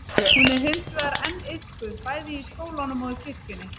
hún er hins vegar enn iðkuð bæði í skólanum og kirkjunni